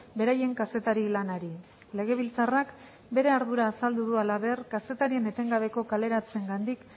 beraien kazetari lanari legebiltzarrak bere ardura azaldu du halaber kazetarien etengabeko kaleratzeengandik